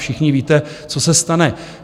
Všichni víte, co se stane.